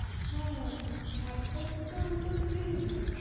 হ্যাঁ! একটাতে তো অন্তত বেরোবে!